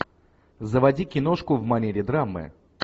заводи киношку в манере драмы